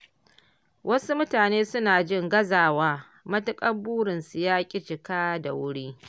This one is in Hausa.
Wasu mutane suna jin gazawa, matuƙar burinsu yaƙi cika da wuri